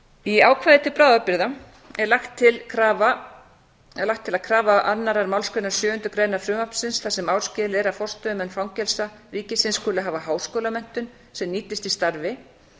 í ákvæði til bráðabirgða er lagt til að krafa annarrar málsgreinar sjöundu greinar frumvarpsins þar sem áskilið er að forstöðumenn fangelsa ríkisins skuli hafa háskólamenntun sem nýtist í starfi